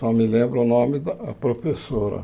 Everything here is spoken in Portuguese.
Só me lembro o nome da professora.